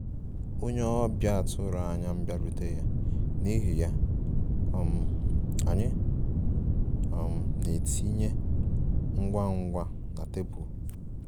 Onye ọbịa atụro anya bịarutere, n'ihi ya, um anyị um na-etinye ngwa ngwa na tebụl